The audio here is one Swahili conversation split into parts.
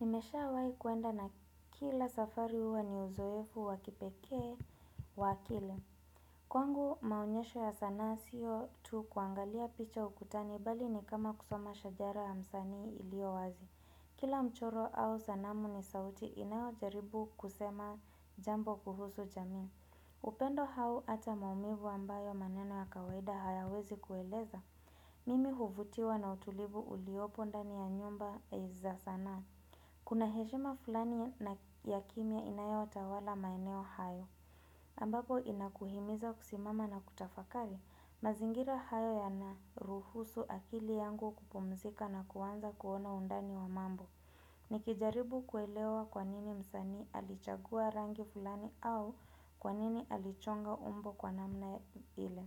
Nimeshawahi kwenda na kila safari huwa ni uzoefu wa kipekee wa akili Kwangu maonyesho ya sanaa sio tu kuangalia picha ukutani bali ni kama kusoma shajara ya msanii iliowazi. Kila mchoro au sanamu ni sauti inayojaribu kusema jambo kuhusu jamii. Upendo au ata maumivu ambayo maneno ya kawaida hayawezi kueleza. Mimi huvutiwa na utulivu uliopo ndani ya nyumba za sanaa. Kuna heshima fulani na ya kimia inayotawala maeneo haya. Ambapo inakuhimiza kusimama na kutafakari mazingira hayo yanaruhusu akili yangu kupumzika na kuanza kuona undani wa mambo. Nikijaribu kuelewa kwa nini msanii alichagua rangi fulani au kwa nini alichonga umbo kwa namna ile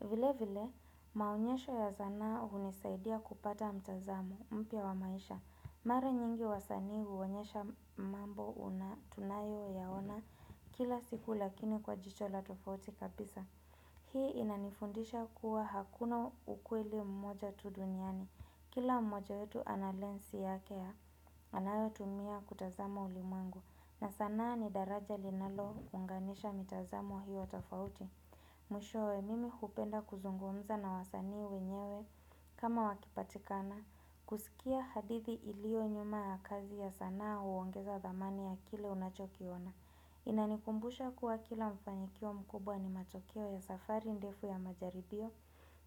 vile vile maonyesho ya sanaa hunisaidia kupata mtazamo mpya wa maisha. Mara nyingi wasanii huonyesha mambo tunayoyaona kila siku lakini kwa jicho la tofauti kabisa. Hii inanifundisha kuwa hakuna ukweli mmoja tu duniani. Kila mmoja wetu ana lensi yake ya anayotumia kutazama ulimwengu. Na sanaa ni daraja linalounganisha mitazamo hiyo tofauti. Mwishowe mimi hupenda kuzungumza na wasanii wenyewe kama wakipatikana. Kusikia hadithi ilio nyuma ya kazi ya sanaa huongeza thamani ya kile unachokiona Inanikumbusha kuwa kila mfanikio mkubwa ni matokeo ya safari ndefu ya majaribio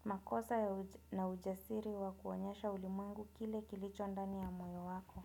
makosa na ujasiri wa kuonyesha ulimwengu kile kilicho ndani ya moyo wako.